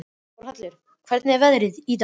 Þórhallur, hvernig er veðrið í dag?